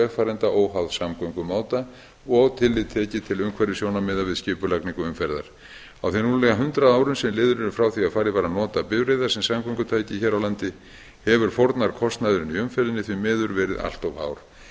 vegfarenda óháð samgöngumáta og tillit tekið til umhverfissjónarmiða við skipulagningu umferðar á þeim rúmlega hundrað árum sem liðin eru frá því að farið var að nota bifreiðar sem samgöngutæki hér á landi hefur fórnarkostnaðurinn í umferðinni því miður verið allt of